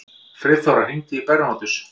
Friðþóra, hringdu í Bernótus.